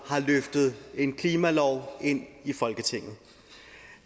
har løftet en klimalov ind i folketinget